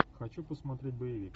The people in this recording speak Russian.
хочу посмотреть боевик